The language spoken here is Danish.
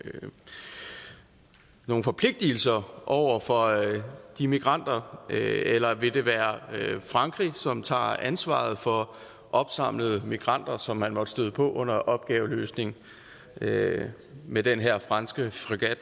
nogle forpligtigelser over for de migranter eller vil det være frankrig som tager ansvaret for opsamlede migranter som man måtte støde på under opgaveløsningen med med den her franske